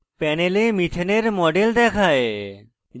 panel methane methane এর model দেখায়